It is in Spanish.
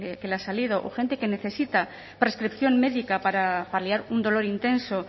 que le ha salido o gente que necesita prescripción médica para paliar un dolor intenso